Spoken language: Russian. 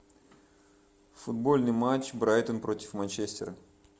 футбольный матч брайтон против манчестера